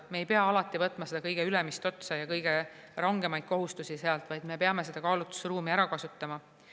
Me ei pea alati üle võtma seda kõige ülemist otsa ja kõige rangemaid kohustusi, vaid me peame kaalutlusruumi ära kasutama.